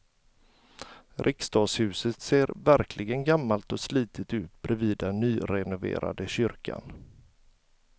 Riksdagshuset ser verkligen gammalt och slitet ut bredvid den nyrenoverade kyrkan.